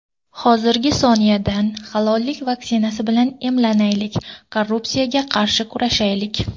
Hozirgi soniyadan halollik vaksinasi bilan emlanaylik, korrupsiyaga qarshi kurashaylik.